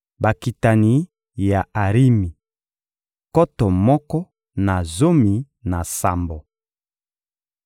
Bakitani ya Arimi: nkoto moko na zomi na sambo.